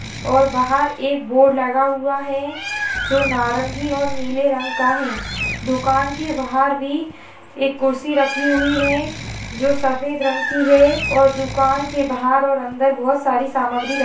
और बाहर एक बोर्ड लगा हुआ है जो नीले और नारंगी रंग का है दुकान के बाहर भी एक कुर्सी रखी है जो सफेद रंग की है और दुकान के बाहर और अन्दर बहुत सी सामग्री र--